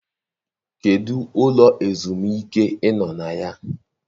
Kedụ ụlọ ezumike ị nọ na ya?